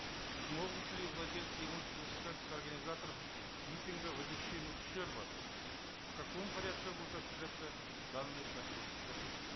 смогут ли владельцы имущества взыскать с организаторов митинга возмещение ущерба в каком порядке будет осуществляться данный процесс рахмет